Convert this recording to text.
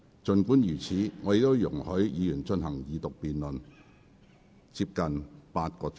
儘管如此，我仍然容許議員進行二讀辯論接近8小時。